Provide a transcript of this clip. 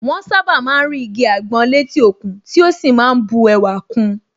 Wọ́n sàbá má ń rí igi àgbọn létí òkun tí ó sì má ń bu ẹwà kun